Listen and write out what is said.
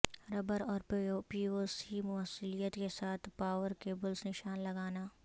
rubber اور PVC موصلیت کے ساتھ پاور کیبلز نشان لگانا